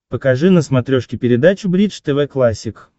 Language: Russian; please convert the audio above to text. покажи на смотрешке передачу бридж тв классик